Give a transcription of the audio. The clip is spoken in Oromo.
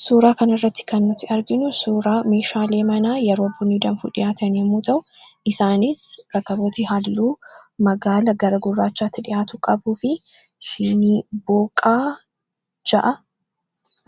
suuraa kan irratti kannut arginu suuraa miishaalee manaa yeroo buniidanfuu dhihaataan yemuu ta'u isaanis rakkabooti haalluu magaala garagurraachaatti dhi'aatu qabuu fi shiniboqaa 6aa